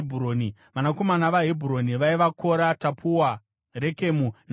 Vanakomana vaHebhuroni vaiva: Kora, Tapuwa, Rekemu naShema.